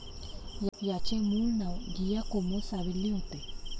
याचे मूळ नाव गियाकोमो सावेल्ली होते.